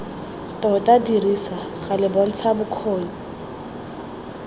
tota dirisa gale bontsha bokgoni